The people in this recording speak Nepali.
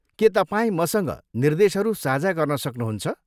के तपाईँ मसँग निर्देशहरू साझा गर्न सक्नुहुन्छ?